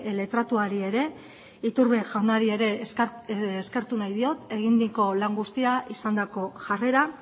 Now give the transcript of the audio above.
letratuari ere iturbe jaunari ere eskertu nahi diot eginiko lan guztia izandako jarrera